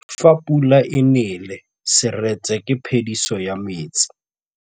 Fa pula e nelê serêtsê ke phêdisô ya metsi.